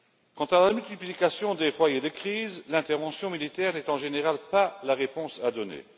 Quant à la multiplication des foyers de crise, l'intervention militaire n'est en général pas la réponse à donner.